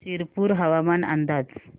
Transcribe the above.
शिरपूर हवामान अंदाज